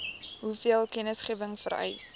hoeveel kennisgewing vereis